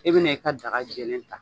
E bɛna i ka daga jɛlen ta